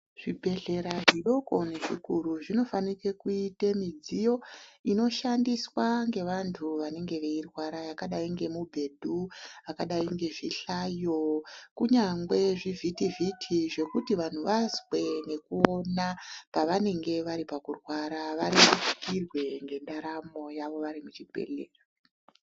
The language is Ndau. Zvibhedhlera zvidoko nezvikuru zvinofanike kuite midziyo inoshandiswa ngevantu vanenge veirwaea yakadai nemubhedhu, akadai ngezvihlayo, kunyangwe zvivhiti vhiti zvekuti vanhu vazwe nekuona pavanenge vari pamurwara varerukirwe nendaramo yavo vari muchibhedhlera.